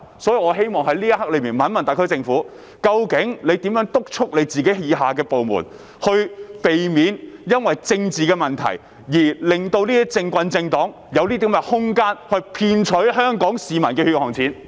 就此，我希望詢問特區政府如何督促各部門，令它們不要基於政治問題而讓"政棍"及政黨有空間騙取香港市民的血汗錢？